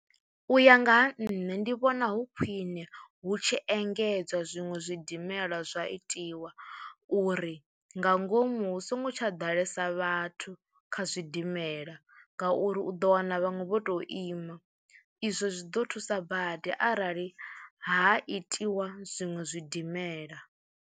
U ya nga ha nṋe ndi vhona hu khwiṋe hu tshi engedzwa zwiṅwe zwidimela zwa itiwa uri nga ngomu hu songo tsha ḓalesa vhathu kha zwidimela ngauri u ḓo wana vhaṅwe vho tou ima, izwo zwi ḓo thusa badi arali ha itiwa zwiṅwe zwidimela.